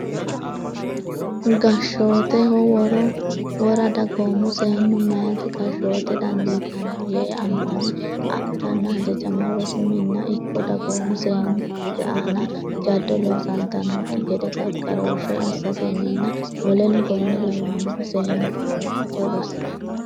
gashshooteho wora dagoommu seennu meyata gashshoote dandiitanno yee ammane adhanna hajajama rosu minna ikko dagoomu seennu meyate aana jaddo loosantannokki gede gargarooshshe assatenninna w k l kaa lonni seennunna meyate rosi.